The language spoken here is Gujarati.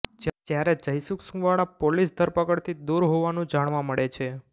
જ્યારે જયસુખ સુંવાળા પોલીસ ધરપકડથી દુર હોવાનું જાણવા મળે છે